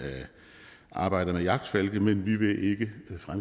arbejder med jagtfalke men vi vil ikke